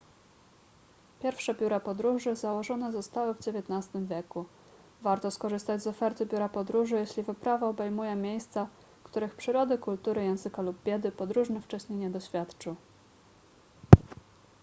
pierwsze biura podróży założone zostały w xix wieku warto skorzystać z oferty biura podróży jeśli wyprawa obejmuje miejsca których przyrody kultury języka lub biedy podróżny wcześniej nie doświadczył